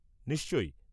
নিশ্চয়।